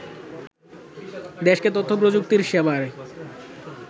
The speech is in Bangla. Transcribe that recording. দেশকে তথ্যপ্রযুক্তি সেবার